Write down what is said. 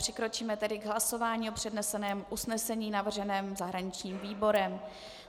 Přikročíme tedy k hlasování o předneseném usnesení navrženém zahraničním výborem.